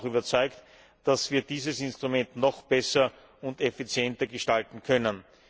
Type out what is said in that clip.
Ich bin aber auch überzeugt, dass wir dieses Instrument noch besser und effizienter gestalten können.